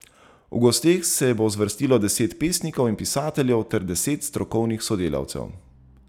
V gosteh se bo zvrstilo deset pesnikov in pisateljev ter deset strokovnih sodelavcev.